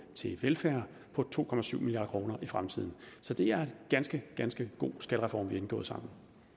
til velfærd på to milliard kroner i fremtiden så det er en ganske ganske god skattereform vi har indgået sammen